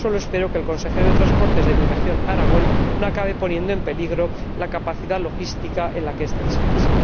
Solo espero que el consejero de Transporte de mi región, Aragón, no acabe poniendo en peligro la capacidad logística en la que este proyecto descansa.